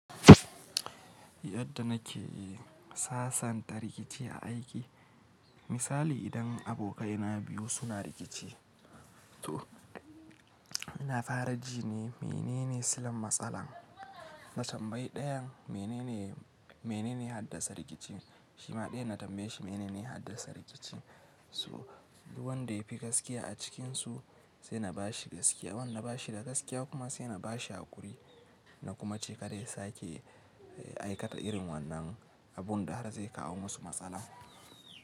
Yadda nake sasanta rikici a aiki. Misali idan abokaina biyu suna rikici, toh, ina fara jine menene silan matsalar? Na tambayi ɗayan menene, menene ya haddasa rikicin, shi ma ɗayan na tambaye shi menene ya haddasa rikicin. Toh, duk wanda ya fi gaskiya a cikinsu, sai na ba shi gaskiya. Wanda na ba shi da gaskiya kuma, sai na ba shi hakuri. Na kuma ce kada ya sake, aikata irin wannan abun da har zai kawo musu matsala.